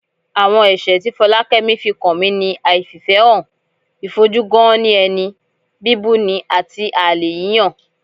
Àwọn ẹ̀ṣẹ̀ ti Fọlákẹ́mi fi kan mi ni àìfìfẹ́hàn, ìfojú-gán-ní-ẹni, bíbuni àti àlè yíyàn